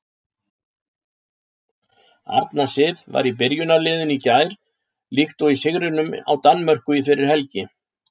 Arna Sif var í byrjunarliðinu í gær líkt og í sigrinum á Danmörku fyrir helgi.